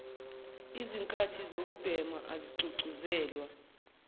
lzikhathi zokubhema azigqugquzelwa